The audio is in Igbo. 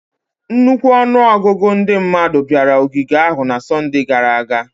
Nnukwu ọnụ ọgụgụ ndị mmadụ bịara ogige ahụ na Sọnde gara aga